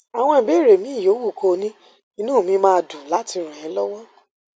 àwọn ìbéèrè míì yòówù kó o ní inú mi máa dùn láti ràn é lọwọ